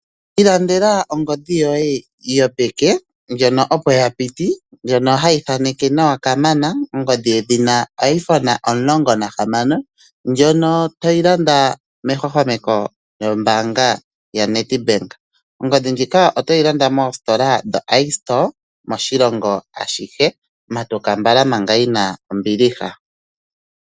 Ilandela ongodhi yoye yopeke, ndjono opo yapiti, ndjono hayi thaneke nawa kamana, ongodhi yedhina Iphone 16, ndjono toyi landa mehwahwameko lyombaanga yaNedbank . Oongodhi ndhika oto dhi landa moositola dhoIstore moNamibia moshilongo ashihe, matuka mbala manga yina ombiliha.